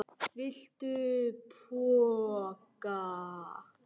Viltu poka?